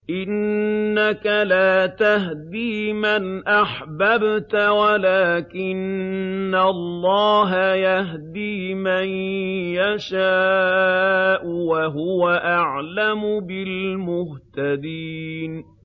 إِنَّكَ لَا تَهْدِي مَنْ أَحْبَبْتَ وَلَٰكِنَّ اللَّهَ يَهْدِي مَن يَشَاءُ ۚ وَهُوَ أَعْلَمُ بِالْمُهْتَدِينَ